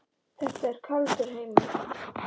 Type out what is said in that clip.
Þetta er kaldur heimur.